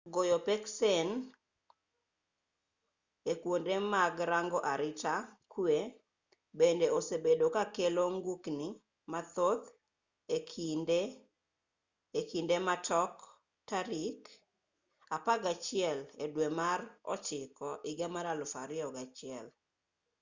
goyo peksen e kwonde mag rango arita kwe bende osebedo ka kelo ng'ukni mathoth e kinde gi ma tok tarik mar septemba 11,2001